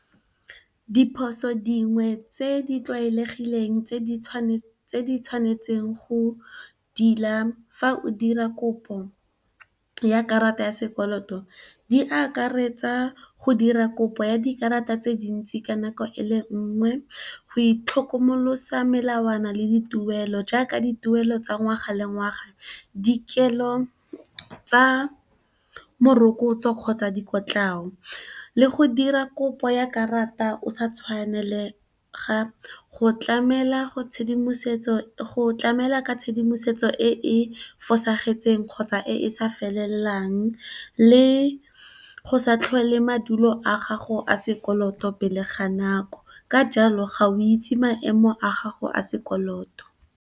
Diphoso dingwe tse di tlwaelegileng tse o di tshwanetseng go di tila fa o dira kopo ya karata ya sekoloto di akaretsa go dira kopo ya dikarata tse dintsi ka nako e le nngwe, go itlhokomolosa melawana le dituelo. Jaaka, dituelo tsa ngwaga le ngwaga, dikelo tsa morokotso kgotsa dikotlao le go dira kopo ya karata o sa tshwanela go tlamela ka tshedimosetso e e fosagetseng, kgotsa e e sa felelelang, le go sa tlhole madulo a gago a sekoloto pele ga nako ka jalo ga o itse maemo a gago a sekoloto.